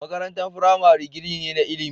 Makarantar firamare gini ne na ilimi.